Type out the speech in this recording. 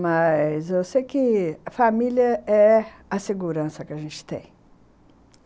Mas eu sei que a família é a segurança que a gente tem.